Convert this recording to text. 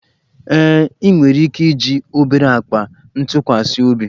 Ee, ị nwere ike iji obere akpa ntụkwasị obi